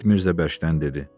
Sabit Mirzə bərkdən dedi.